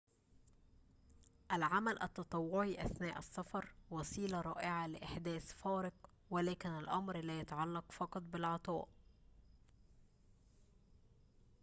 العمل التطوعي أثناء السفر وسيلة رائعة لإحداث فارق ولكن الأمر لا يتعلق فقط بالعطاء